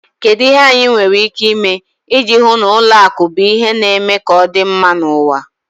Kedu ihe anyị nwere ike ime iji hụ na ụlọ akụ bụ ihe na-eme ka ọ dị mma n'ụwa?